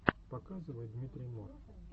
показывай дмитрий мор